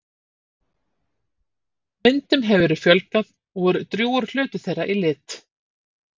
Myndum hefur verið fjölgað og er drjúgur hluti þeirra í lit.